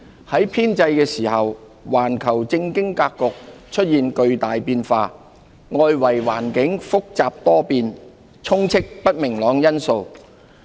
在編製時，環球政經格局出現巨大變化，外圍環境複雜多變，充斥不明朗因素。